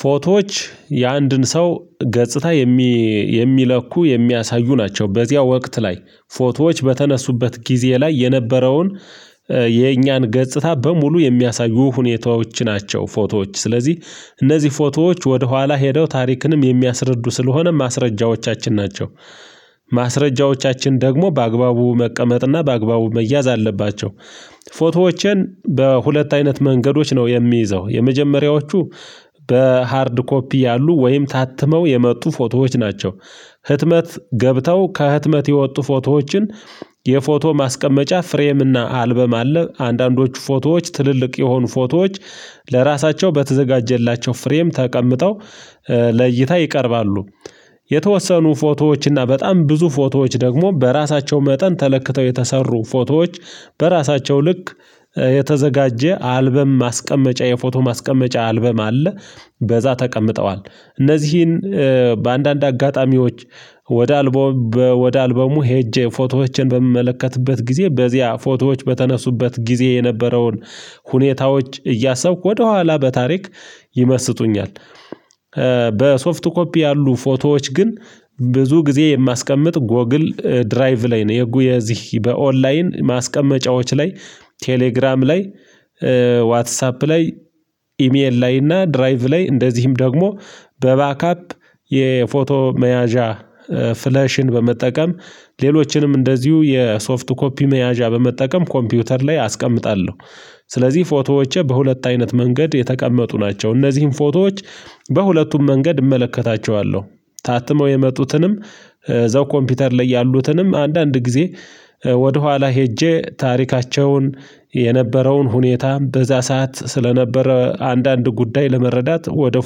ፎቶዎች የአንድን ሰው ገጽታ የሚለኩ የሚያሳዩ ናቸው። በዚያ ወቅት ላይ ፎቶዎች በተነሱበት ጊዜ ላይ የነበረውን የእኛን ገጽታ በሙሉ የሚያሳዩ ሁኔታዎች ናቸው። ፎቶዎች ስለዚህ እነዚህ ፎቶዎች ወደ ኋላ ሄደው ታሪክንም የሚያስረዱ ስለሆነ ማስረጃዎቻችን ናቸው። ማስረጃዎቻችን ደግሞ በአግባቡ መቀመጥና በአግባቡ መያዝ አለባቸው። ፎቶዎችን በሁለት አይነት መንገዶች ነው የሚይዘው። የመጀመሪያዎቹ በሃርድ ኮፒ ያሉ ወይም ታትመው የመጡ ፎቶዎች ናቸው። ህትመት ገብተው ከህትመት የወጡ ፎቶዎችን የፎቶ ማስቀመጫ ፍሬም እና አልበም አለ። አንዳንዶቹ ፎቶዎች ትልልቅ የሆኑ ፎቶዎች ለራሳቸው በተዘጋጀላቸው ፍሬም ተቀምጠው ለእይታ ይቀርባሉ። የተወሰኑ ፎቶዎች እና በጣም ብዙ ፎቶዎች ደግሞ በራሳቸው መጠን ተለክተው የተሰሩ ፎቶዎች በራሳቸው ልክ የተዘጋጀ አልበም ማስቀመጫ የፎቶ ማስቀመጫ አልበም አለ። በዛ ተቀምጠዋል እነዚህን በአንዳንድ አጋጣሚዎች ወደ አልበሙ ሄጄ ፎቶዎችን በምመልከትበት ጊዜ በዚያ ፎቶዎች በተነሱበት ጊዜ የነበረውን ሁኔታዎች እያሰብኩ ወደኋላ በታሪክ ይመስጡኛል። በሶፍት ኮፒ ያሉ ፎቶዎች ግን ብዙ ጊዜ የማስቀምጥ ጎግል ድራይቭ ላይ ነው የጉ የዚህ በኦንላይን ማስቀመጫዎች ላይ ቴሌግራም ላይ ዋትሳፕ ላይ ኢሜል ላይ እና ድራይቭ ላይ እንደዚህም ደግሞ በባካፕ የፎቶ መያዣ ፍለሽን በመጠቀም ሌሎችንም እንደዚሁ የሶፍት ኮፒ መያዣ በመጠቀም ኮምፒውተር ላይ አስቀምጣለሁ። ስለዚህ ፎቶዎቼ በሁለት አይነት መንገድ የተቀመጡ ናቸው። እነዚህን ፎቶዎች በሁለቱም መንገድ እመለከታቸዋለሁ። ታትመው የመጡትንም እዛው ኮምፒውተር ላይ ያሉትንም አንዳንድ ጊዜ ወደኋላ ሄጄ ታሪካቸውን የነበረውን ሁኔታ በዛ ሰዓት ስለነበረ አንዳንድ ጉዳይ ለመረዳት ወደ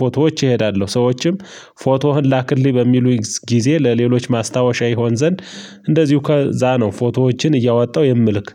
ፎቶዎች እሄዳለሁ። ሰዎችም ፎቶህን ላክልኝ በሚሉ ጊዜ ለሌሎች ማስታወሻ ይሆን ዘንድ እንደዚሁ ከዛ ነው ፎቶዎችን እያወጣው የምልክ